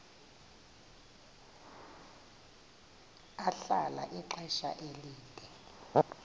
ahlala ixesha elide